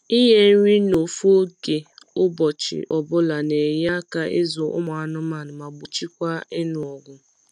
ịnye nri na ofu oge ụbọchị ọbula n’enye aka ịzụ ụmụ anụmanụ ma gbochikwa ịnụ ọgụ